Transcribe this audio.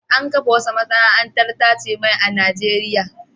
An kafa wata masana'antar tace mai a Najeriya.